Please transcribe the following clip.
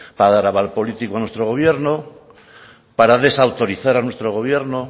para dar aval político a nuestro gobierno para desautorizar a nuestro gobierno